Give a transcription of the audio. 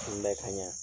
Kunbɛ ka ɲa